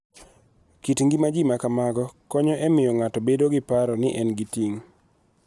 Kit ngima ji ma kamago konyo e miyo ng�ato obed gi paro ni en gi ting�.